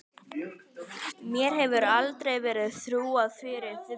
Mér hefði aldrei verið trúað fyrir bréfi.